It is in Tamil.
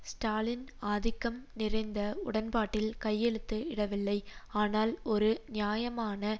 ஸ்டாலின் ஆதிக்கம் நிறைந்த உடன்பாட்டில் கையெழுத்து இடவில்லை ஆனால் ஒரு நியாயமான